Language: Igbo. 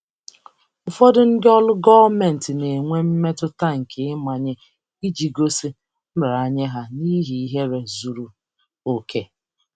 Ụfọdụ ndị ọrụ gọọmentị na-enwe mmetụta nke ịmanye iji gosi nraranye ha n'ihi ihere zuru oke.